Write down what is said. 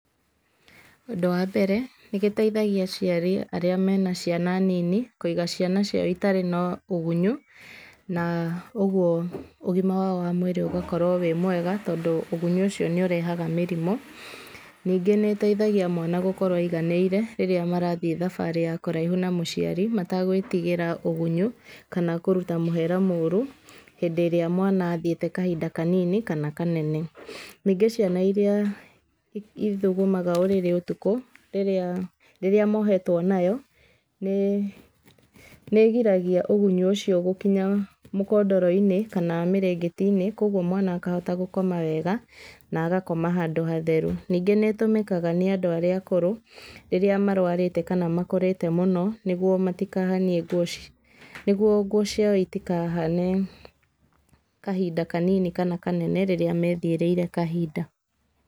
Ũndũ wa mbere, nĩgĩteithagia aciari arĩa mena ciana nini kũiga ciana ciao itarĩ na ũgunyũ, na ũguo ũgima wao wa mwĩrĩ ũgakorwo wĩ mwega, tondũ ũgunyũ ũcio nĩũrehaga mĩrimũ, ningĩ nĩteithagia mwana gũkorwo aiganĩire rĩrĩa marathiĩ thabarĩ ya kũraihu na mũciari, mategwĩtigĩra ũgunyũ kana kũruta mũhera mũru hindĩ ĩrĩa mwana athiĩte kahinda kanini kana kanene, ningĩ ciana irĩa ithugumaga ũrĩrĩ ũtukũ rĩrĩa mohetwo nayo nĩgiragia ũgunyu ũcio gũkinya mũkondoro-inĩ kana mĩrengeti-inĩ, koguo mwana akahota gũkoma wega na agakoma handũ hatheru, ningĩ nĩtũmĩkaga nĩ andũ arĩa akũrũ rĩrĩa marwarĩte kana makũrĩte mũno, nĩguo matikahanie nguo, nĩguo nguo ciao itikahane kahinda kanini kana kanene rĩrĩa methiĩrĩre kahinda.